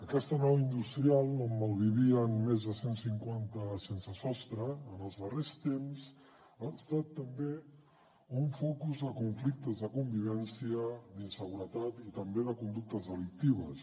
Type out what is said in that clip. aquesta nau industrial on malvivien més de cent cinquanta sensesostre en els darrers temps ha estat també un focus de conflictes de convivència d’inseguretat i també de conductes delictives